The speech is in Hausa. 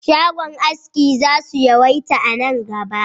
Shagon aski za su yawaita a nan gaba